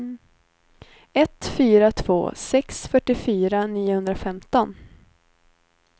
ett fyra två sex fyrtiofyra niohundrafemton